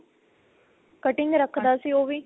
cutting ਰੱਖਦਾ ਸੀ ਉਹ ਵੀ